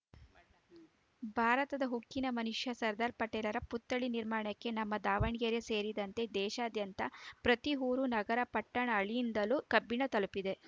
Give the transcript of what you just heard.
ಭಾರತದ ಉಕ್ಕಿನ ಮನುಷ್ಯ ಸರ್ದಾರ್‌ ಪಟೇಲ್‌ರ ಪುತ್ಥಳಿ ನಿರ್ಮಾಣಕ್ಕೆ ನಮ್ಮ ದಾವಣಗೆರೆ ಸೇರಿದಂತೆ ದೇಶಾದ್ಯಂತ ಪ್ರತಿ ಊರು ನಗರ ಪಟ್ಟಣ ಹಳಿಯಿಂದಲೂ ಕಬ್ಬಿಣ ತಲುಪಿದೆ